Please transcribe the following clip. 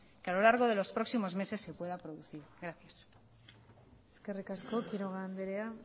que a lo largo de los próximos meses se pueda producir gracias eskerrik asko quiroga andrea